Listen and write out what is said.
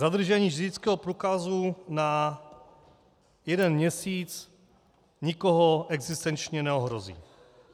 Zadržení řidičského průkazu na jeden měsíc nikoho existenčně neohrozí.